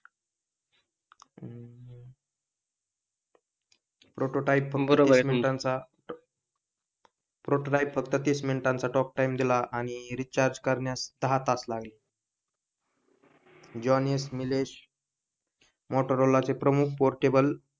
Prototype पण बरोबर आहे त्यांचा प्रोटोटाइप फक्त तीस मिनिटाचा टॉकटाईम दिला आणि रिचार्ज करण्यास दहा तास लागले. जॉन एस मीएल्स मोटोरोला चे प्रमुख पोर्टेबल,